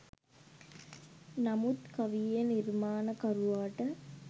නමුත් කවියේ නිර්මාණකරුවාට